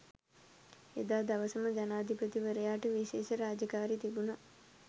එදා දවසම ජනාධිපතිවරයාට විශේෂ රාජකාරි තිබිණි.